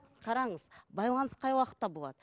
қараңыз байланыс қай уақытта болады